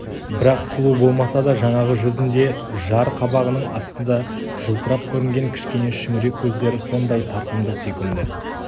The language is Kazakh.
бірақ сұлу болмаса да жаңағы жүзінде жар қабағының астында жылтырап көрінген кішкене шүңірек көздері сондай тартымды сүйкімді